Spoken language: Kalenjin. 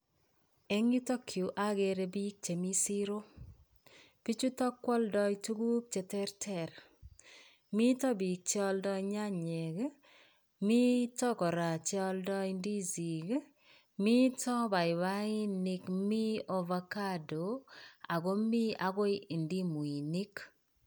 Eng' yutokyu agere biik chemii siroo. Bichutik kwadai tuguk cheterter. Miito biik che aldai nyanyek ii ako miito che aldai ndosik. Miito baibainik ako miito Avacado agoi ndimuinik.